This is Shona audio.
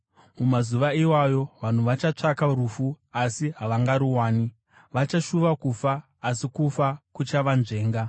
Mumazuva iwayo vanhu vachatsvaka rufu, asi havangaruwani; vachashuva kufa asi kufa kuchavanzvenga.